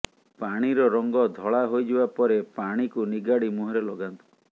ପାଣିର ରଙ୍ଗ ଧଳା ହୋଇଯିବା ପରେ ପାଣିକୁ ନିଗାଡି ମୁହଁରେ ଲଗାନ୍ତୁ